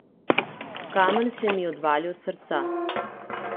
Kamen se mi odvali od srca.